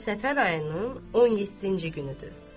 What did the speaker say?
Bu gün səfər ayının 17-ci günüdür.